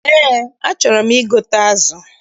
Eé, achọrọ m igote azụ.